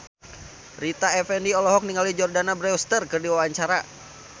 Rita Effendy olohok ningali Jordana Brewster keur diwawancara